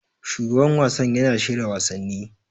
Shugaban wasan yana shirya wasanni.